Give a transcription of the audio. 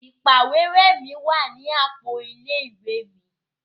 Ìpàwérẹ́ mi wa ni àpò ilé ìwé mi.